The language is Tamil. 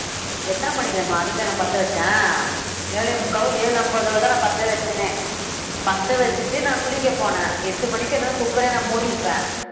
எத்தனை மணிக்கு தெரியுமா அடுப்பை நான் பத்த வச்சேன் ஏழே முக்காவோ ஏழு அம்பதோதானே பத்த வைச்சேனே பத்த வச்சிட்டு, நான் குளிக்கப் போனேன் எட்டு மணிக்கு cooker ஏ நான் மூடியிருப்பேன்